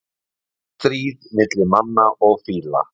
Stríð milli manna og fíla